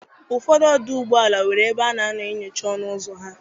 Ụfọdụ ọdụ ụgbọ ala nwere ebe ana eme nyocha n'ọnụ ụzọ ha.